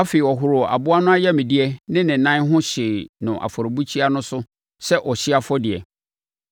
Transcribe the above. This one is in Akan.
Afei, ɔhoroo aboa no ayamdeɛ ne ne nan ho hyee no afɔrebukyia no so sɛ ɔhyeɛ afɔdeɛ.